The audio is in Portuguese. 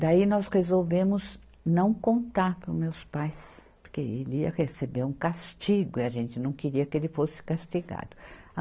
Daí, nós resolvemos não contar para os meus pais, porque ele ia receber um castigo e a gente não queria que ele fosse castigado.